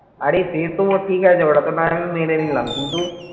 আরে সেতো ঠিক আছে ওটা তো না হয় আমি মেনে নিলাম কিন্তু